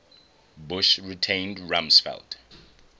bush retained rumsfeld